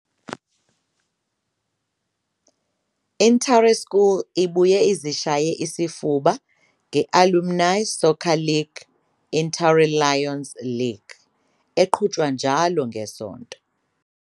INtare School ibuye izishaye isifuba nge-Alumni Soccer League iNtare Lions League eqhutshwa njalo ngeSonto.